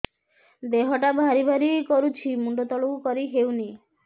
ଦେହଟା ଭାରି ଭାରି କରୁଛି ମୁଣ୍ଡ ତଳକୁ କରି ହେଉନି